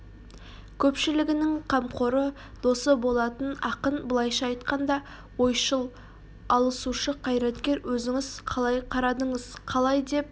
көшпілігінің қамқоры досы болатын ақын былайша айтқанда ойшыл алысушы қайраткер өзіңіз қалай қарадыңыз қалай деп